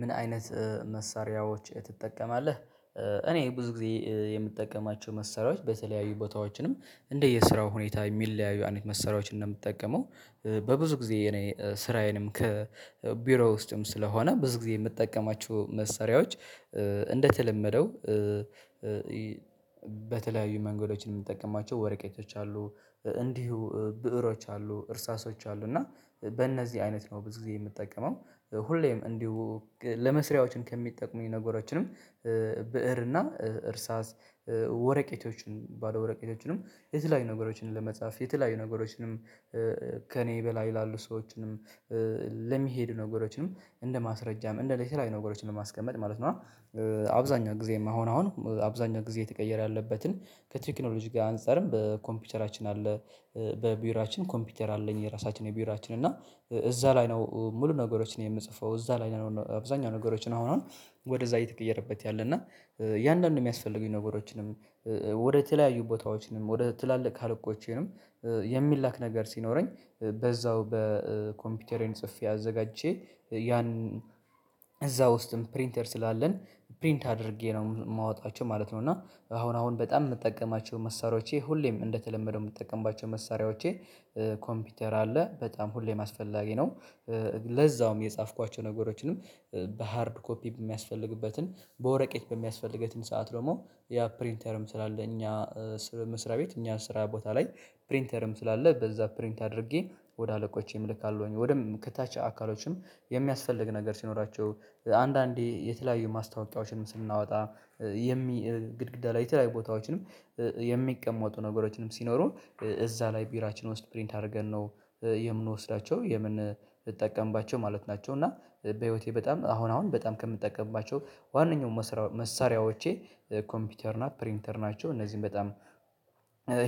ምን አይነት መሳሪያዎች ትጠቀማለህ? እኔ ብዙ ጊዜ የምጠቀማቸው መሰሪያዎች በተለያዩ ቦታዎችንም እንደየስራው ሁኔታ የሚለያዩ አይነት መሰሪያዎች ነው ምጠቀመው። በብዙ ጊዜ እኔ ስራዬንም ከቢሮ ውስጥም ስለሆነ ብዙ ጊዜ የምጠቀማችሁ መሰሪያዎች እንደተለመደው በተለያዩ መንገዶችን የምንጠቀማቸው ወረቀቶች አሉ እንዲሁ ብእሮች አሉ። እርሳሶች አሉ እና በእነዚህ አይነት ነው ብዙ ጊዜ የምጠቀመው ሁሌም እንዲሁ ለመስሪያዎችን ከሚጠቁሙኝ ነገሮችንም ብእር እና እርሳስ ወረቄቶችን ባለወረቄቶችንም የተለያዩ ነገሮችን ለመጻፍ የተለያዩ ነገሮችንም ከእኔ በላይ ላሉ ሰዎችንም ለሚሄዱ ነገሮችንም እንደማስረጃም እንደ ሌተራዊ ነገሮችን ለማስቀመጥ ማለት ነው። አብዛኛው ጊዜም አሁን አሁን አብዛኛው ጊዜ ተቀየር ያለበትን ከትክኖሎጂ ጋር አንፃርም በኮምፒውቸራችን አለ። በቢውራችን ኮምፒውተር አለኝ የራሳችን የቢውራችን እና እዛ ላይ ነው ሙሉ ነገሮችን የምጽፈው እዛ ላይ ነው አብዛኛው ነገሮችን አሁን አሁን ወደዛ እየተቀየረበት ያለ እና እያንዳንዱ የሚያስፈልጉኝ ነገሮችንም ወደ ተለያዩ ቦታዎችንም ወደ ትላልቅ ካልኮቼንም የሚላክ ነገር ሲኖረኝ በዛው በኮምፒውተሬም ጽፌ አዘጋጅቼ ያን እዛ ውስጥም ፕሪንተር ስላለን ፕሪንት አድርጌ ነው የማወጣቸው ማለት ነው። እና አሁን አሁን በጣም የምጠቀማቸው መሳሪያዎቼ ሁሌም እንደተለመደ የምጠቀምባቸው መሳሪያዎቼ ኮምፒውተር አለ በጣም ሁሌም አስፈላጊ ነው። ለዛውም የጻፍኳቸው ነገሮችንም በሃርድ ኮፒ በሚያስፈልግበትን በወረቀት በሚያስፈልገትን ሰዓት ደግሞ ያ ፕሪንተርም ስላለ እኛ መስሪያ ቤት እኛ ስራ ቦታ ላይ ፕሪንተርም ስላለ በዛ ፕሪንት አድርጌ ወደ አለቆቼም ልካለሁኝ ወደም ከታች አካሎችም የሚያስፈልግ ነገር ሲኖራቸው አንዳንዴ የተለያዩ ማስታወቂያዎችን ስናወጣ የሚ ግድግዳ ላይ የተለያዩ ቦታዎችንም የሚቀመጡ ነገሮችንም ሲኖሩ እዛ ላይ ቢራችን ውስጥ ፕሪንት አድርገን ነው የምንወስዳቸው የምንጠቀምባቸው ማለት ናቸው። እና በህይወቴ በጣም አሁን አሁን በጣም ከምጠቀምባቸው ዋነኛው መሳሪያዎቼ ኮምፒውተር እና ፕሪንተር ናቸው። እነዚህን በጣም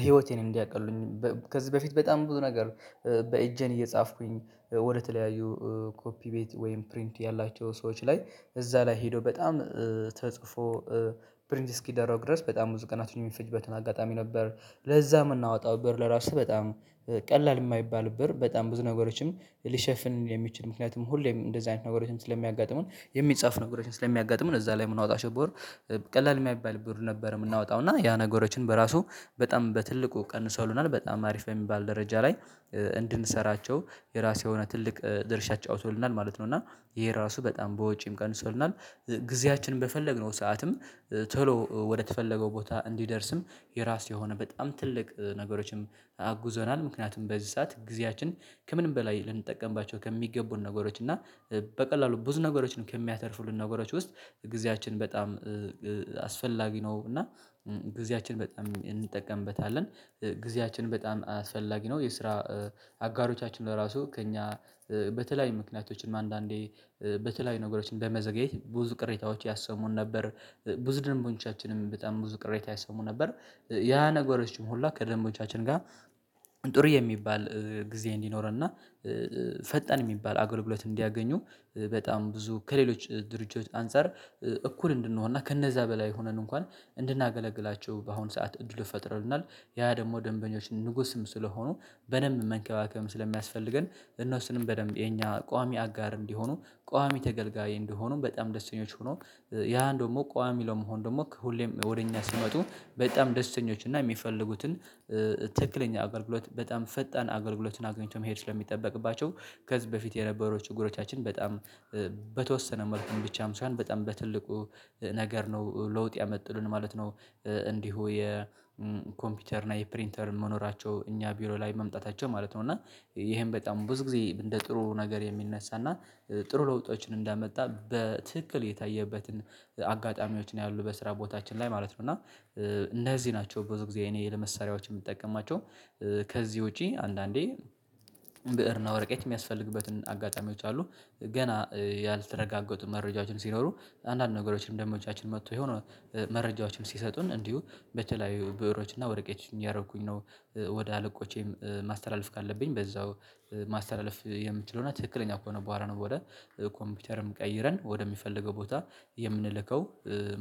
ህይወቴን እንዲያቀሉልኝ ከዚህ በፊት በጣም ብዙ ነገር በኢጄን እየጻፍኩኝ ወደተለያዩ ኮፒ ቤት ወይም ፕሪንት ያላቸው ሰዎች ላይ እዛ ላይ ሄዶ በጣም ተጽፎ ብሪንት እስኪደረጉ ድረስ በጣም ብዙ ቀናት የሚፈጅበትን አጋጣሚ ነበር። ለዛ ምናወጣው ብር ለራሱ በጣም ቀላል የማይባል ብር በጣም ብዙ ነገሮችም ሊሸፍን የሚችል ምክንያቱም ሁሌም እንደዚህ አይነት ነገሮችን ስለሚያጋጥመን የሚጻፍ ነገሮችን ስለሚያጋጥመን እዛ ላይ የምናወጣቸው ብር ቀላል የማይባል ብር ነበር። የምናወጣው እና ያ ነገሮችን በራሱ በጣም በትልቁ ቀንሰውናል በጣም አሪፍ የሚባል ደረጃ ላይ እንድንሰራቸው የራሱ የሆነ ትልቅ ድርሻ አጫውቶልናል ማለት ነው። እና ይሄ ራሱ በጣም በውጪም ቀንሶልናል ጊዜያችን በፈለግነው ሰዓትም ቶሎ ወደተፈለገው ቦታ እንዲደርስም የራሱ የሆነ በጣም ትልቅ ነገሮችንም አጉዘናል ምክንያቱም በዚህ ሰዓት ጊዜያችን ከምንም በላይ ልንጠቀምባቸው ከሚገቡን ነገሮች እና በቀላሉ ብዙ ነገሮች ነው ከሚያተርፉልን ነገሮች ውስጥ ጊዜያችን በጣም አስፈላጊ ነው። እና ጊዜያችን በጣም እንጠቀምበታለን ጊዜያችን በጣም አስፈላጊ ነው። የስራ አጋሮቻችን ለራሱ ከእኛ በተለያዩ ምክንያቶችም አንዳንዴ በተለያዩ ነገሮችን በመዘግየት ብዙ ቅሬታዎች ያሰሙን ነበር ብዙ ደንቦንቻችንም በጣም ብዙ ቅሬታ ያሰሙ ነበር። ያ ነገሮችን ሁሉ ከደንቦቻችን ጋር ጥሩ የሚባል ጊዜ እንዲኖረን እና ፈጣን የሚባል አገልግሎት እንዲያገኙ በጣም ብዙ ከሌሎች ድርጅቶች አንፃር እኩል እንድንሆንና ከነዛ በላይ ሆነን እንኳን እንድናገለግላቸው በአሁን ሰዓት እንድሉት ፈጥረንናል ያ ደግሞ ደንበኞች ንጉስም ስለሆኑ በደንብ መንከባከብም ስለሚያስፈልገን እነሱንም በደንብ የኛ ቋሚ አጋር እንዲሆኑ ቋሚ ተገልጋይ እንደሆኑ በጣም ደስተኞች ሆኖ ያን ደግሞ ቋሚ ለመሆን ደግሞ ሁሌም ወደ እኛ ሲመጡ በጣም ደስተኞች እና የሚፈልጉትን ትክክለኛ አገልግሎት በጣም ፈጣን አገልግሎትን አግኝቶ መሄድ ስለሚጠበቅባቸው ከዚህ በፊት የነበረው ችግሮቻችን በጣም በተወሰነ መልኩም ብቻም ሳይሆን በጣም በትልቁ ነገር ነው ለውጥ ያመጥሉን ማለት ነው። እንዲሁ የኮምፒውተር እና የፕሪንተር መኖራቸው እኛ ቢሮ ላይ መምጣታቸው ማለት ነው እና ይሄን በጣም ብዙ ጊዜ እንደ ጥሩ ነገር የሚነሳና ጥሩ ለውጦችን እንዳመጣ በትክክል የታየበትን አጋጣሚዎች ነው ያሉት በስራ ቦታችን ላይ ማለት ነው። እና እነዚህ ናቸው ብዙ ጊዜ እኔ ለመሳሪያዎች የምጠቀማቸው። ከዚህ ውጪ አንዳንዴ ብእር ነው ወረቀት የሚያስፈልግበትን አጋጣሚዎች አሉ። ገና ያልተረጋገጡ መረጃችን ሲኖሩ አንዳንድ ነገሮችንም ደሞቻችን መጥቶ የሆነ መረጃዎችን ሲሰጡን እንዲሁ በተላያዩ ብዕሮችና ወረቄች ያደረኩኝ ነው ወደ አለቆቼም ማስተላለፍ ካለብኝ በዛው ማስተላለፍ የምችለው እና ትክክለኛ ከሆነ በኋላ ነው ወደ ኮምፒውተርም ቀይረን ወደሚፈልገው ቦታ የምንልከው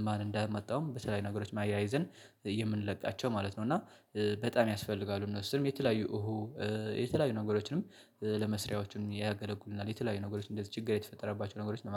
ማን እንዳመጣውም በተለያዩ ነገሮችም አያይዘን የምንለቃቸው ማለት ነው። እና በጣም ያስፈልጋሉ እነሱም የተለያዩ እሁ የተለያዩ ነገሮችንም ለመስሪያዎቹም ያገለጉሉናል የተለያዩ ነገሮች እንደዚህ ችግር የተፈጠረባቸው ነገሮች ለማለት